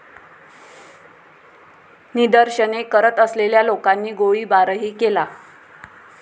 निदर्शने करत असलेल्या लोकांनी गोळीबारही केला.